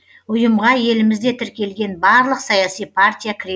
ұйымға елімізде тіркелген барлық саяси партия кіре